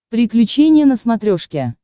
приключения на смотрешке